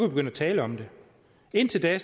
begynde at tale om det indtil da